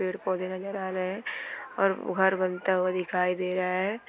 पेड़-पौधे नजर आ रहे है और घर बनता हुआ दिखाई दे रहा है।